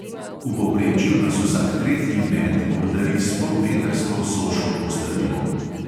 V povprečju nas vsak tretji met obdari s polmetrsko soško postrvjo.